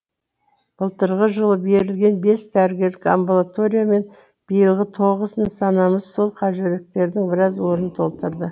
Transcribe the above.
былтырғы жылы берілген бес дәрігер амбулатория мен биылғы тоғыз нысанамыз сол қажеттіліктердің біраз орнын толтырды